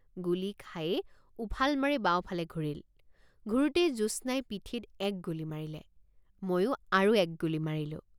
গুলী খায়েই উফাল মাৰি বাওঁফালে ঘূৰিল ঘূৰোতেই জ্যোৎস্নাই পিঠিত এক গুলী মাৰিলেময়ো আৰু এক গুলী মাৰিলো।